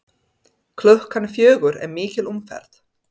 Klukkan fjögur er mikil umferð.